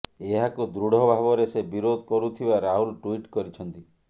ଏହାକୁ ଦୃଢ ଭାବରେ ସେ ବିରୋଧ କରୁଥିବା ରାହୁଲ ଟୁଇଟ କରିଛନ୍ତି